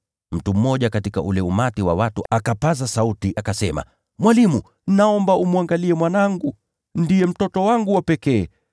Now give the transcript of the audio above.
Mtu mmoja katika ule umati wa watu akapaza sauti, akasema, “Mwalimu, naomba umwangalie mwanangu, kwani ndiye mtoto wangu wa pekee.